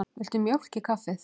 Viltu mjólk í kaffið?